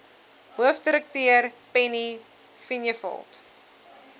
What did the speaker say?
hoofdirekteur penny vinjevold